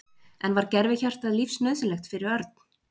En var gervihjartað lífsnauðsynlegt fyrir Örn?